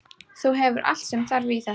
Þú hefur allt sem þarf í þetta.